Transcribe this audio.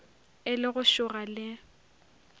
e le go šoga le